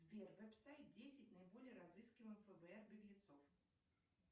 сбер веб сайт десять наиболее разыскиваемых фбр беглецов